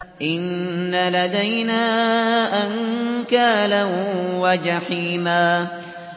إِنَّ لَدَيْنَا أَنكَالًا وَجَحِيمًا